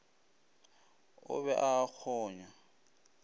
o be a a kgonya